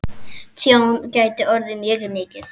Tjón gæti orðið mjög mikið.